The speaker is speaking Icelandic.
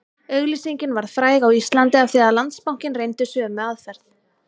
Auglýsingin varð fræg á Íslandi af því Landsbankinn reyndi sömu aðferð